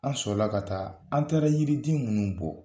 An sɔrɔla ka taa an taara yiriden minnu bɔ